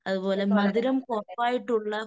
അതുപോലെ മധുരം കുറവായിട്ടുള്ള